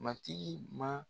Matigi man